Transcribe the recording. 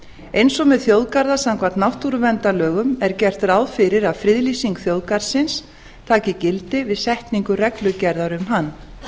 eins og með þjóðgarða samkvæmt náttúruverndarlögum er gert ráð fyrir að friðlýsing þjóðgarðsins taki gildi við setningu reglugerðar um hann